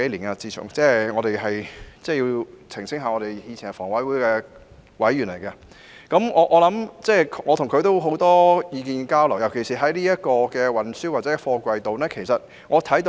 我需要澄清，我和他以前都是香港房屋委員會的委員，彼此有很多意見交流，尤其是在運輸或貨櫃方面。